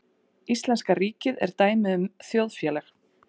Íslenska ríkið er dæmi um þjóðfélag.